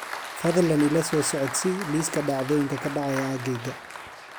fadlan ila soo socodsii liiska dhacdooyinka ka dhacaya aaggayga